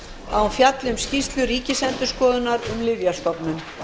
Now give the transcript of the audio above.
að hún fjalli um skýrslu ríkisendurskoðunar um lyfjastofnun